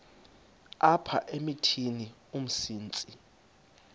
apha emithini umsintsi